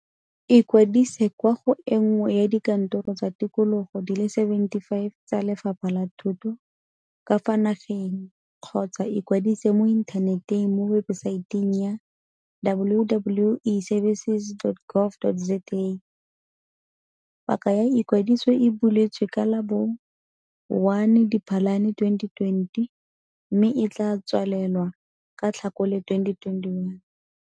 Ikwadise kwa go e nngwe ya dikantoro tsa tikologo di le 75 tsa Lefapha la Thuto ka fa nageng kgotsa ikwadise mo inthaneteng mo webesaeteng ya - www.eservices.gov. za. Paka ya ikwadiso e buletswe ka la bo 1 Diphalane 2020 mme e tla tswalelwa ka Tlhakole 2021.